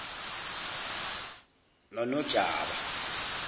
nonojaba